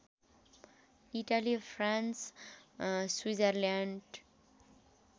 Italy France Switzerland